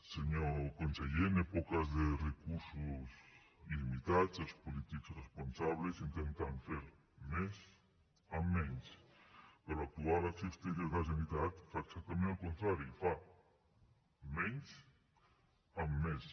senyor conseller en èpoques de recursos limitats els polítics responsables intenten fer més amb menys però l’actual acció exterior de la generalitat fa exactament al contrari fa menys amb més